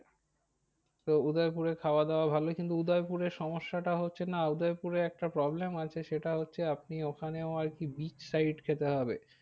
তো উদয়পুরে খাওয়া দাওয়া ভালোই কিন্তু উদয়পুরে সমস্যাটা হচ্ছে না উদয়পুরে একটা problem আছে সেটা হচ্ছে। আপনি ওখানেও আর কি breach side খেতে হবে।